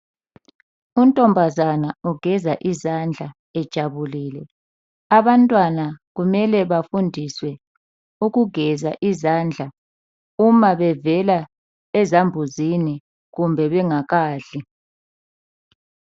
Untombazana ugeza izandla ejabulile. Abantwana kumele bafundiswe ukugeza izandla uma bevela ezambuzini kumbe bengakadli.